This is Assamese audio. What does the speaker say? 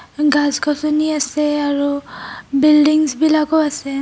গাছ গচনি আছে আৰু বিল্ডিংচ বিলাকও আছে.